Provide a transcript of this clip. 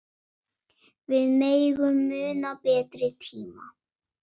Við megum muna betri tíma.